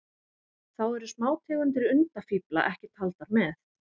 Þá eru smátegundir undafífla ekki taldar með.